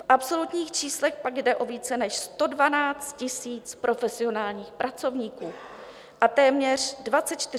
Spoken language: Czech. V absolutních číslech pak jde o více než 112 000 profesionálních pracovníků a téměř 24 000 dobrovolníků.